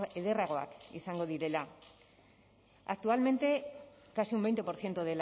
ederragoak izango direla actualmente casi un veinte por ciento